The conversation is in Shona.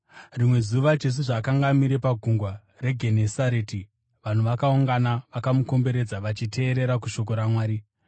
Rimwe zuva Jesu zvaakanga amire paGungwa reGenesareti, vanhu vakaungana vakamukomberedza vachiteerera kushoko raMwari,